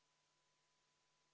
Istungi lõpp kell 16.18.